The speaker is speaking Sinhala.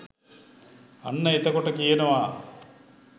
අන්න එතකොට කියනවා